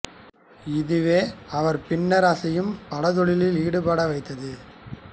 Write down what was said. இதுவே அவர் பின்னர் அசையும் படத் தொழிலில் ஈடுபட வைத்தது